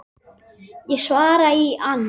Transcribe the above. Ég svara í ann